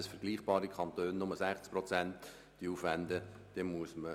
Mit dem Verzicht auf die Entschädigung kann man hier entsprechend Rechnung tragen.